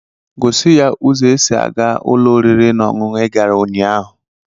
Gosi ya ụzọ e si àgá ụlọ oriri na ọṅụṅụ ị gara ụnyaahụ